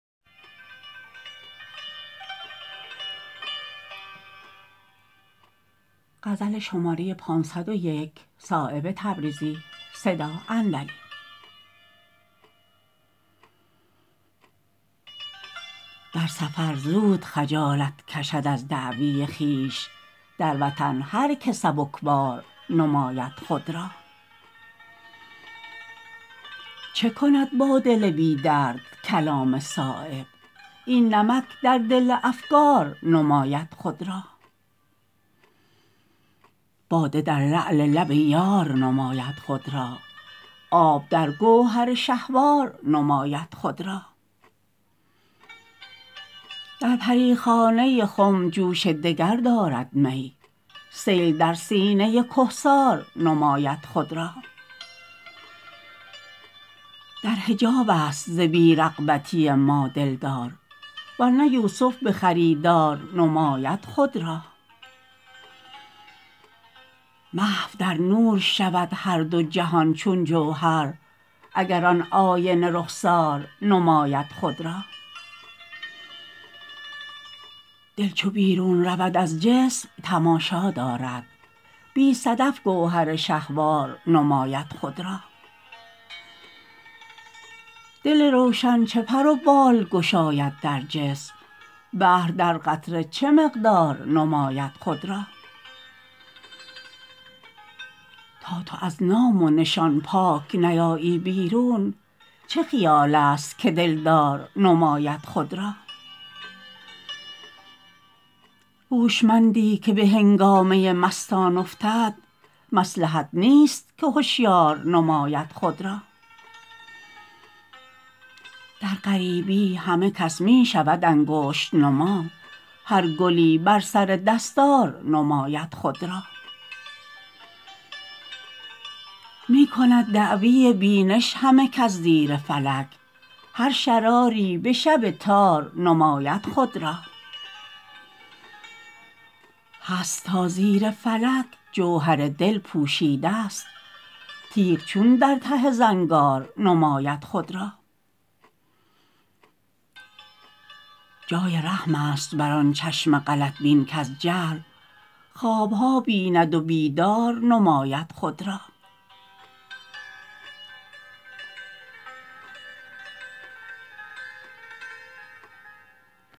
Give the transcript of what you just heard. در سفر زود خجالت کشد از دعوی خویش در وطن هر که سبکبار نماید خود را چه کند با دل بی درد کلام صایب این نمک در دل افگار نماید خود را باده در لعل لب یار نماید خود را آب در گوهر شهوار نماید خود را در پریخانه خم جوش دگر دارد می سیل در سینه کهسار نماید خود را در حجاب است ز بی رغبتی ما دلدار ورنه یوسف به خریدار نماید خود را محو در نور شود هر دو جهان چون جوهر اگر آن آینه رخسار نماید خود را دل چو بیرون رود از جسم تماشا دارد بی صدف گوهر شهوار نماید خود را دل روشن چه پر و بال گشاید در جسم بحر در قطره چه مقدار نماید خود را تا تو از نام و نشان پاک نیایی بیرون چه خیال است که دلدار نماید خود را هوشمندی که به هنگامه مستان افتد مصلحت نیست که هشیار نماید خود را در غریبی همه کس می شود انگشت نما هر گلی بر سر دستار نماید خود را می کند دعوی بینش همه کس زیر فلک هر شراری به شب تار نماید خود را هست تا زیر فلک جوهر دل پوشیده است تیغ چون در ته زنگار نماید خود را جای رحم است بر آن چشم غلط بین کز جهل خوابها بیند و بیدار نماید خود را